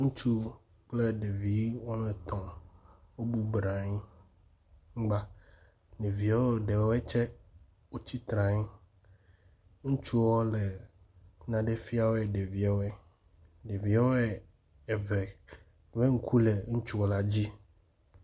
Ŋutsu kple ɖevi woame etɔ̃, wobɔbɔ nɔ anyi anyigba. Ɖevia ɖewɔe tsɛ, wotsitre, ŋutsuɔ le nane fie ɖeviawɔe. Ɖeviwɔe eve ƒe ŋku le ŋutsu la dzi.